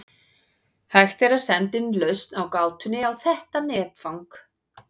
Hægt er að senda inn lausn á gátunni á þetta netfang.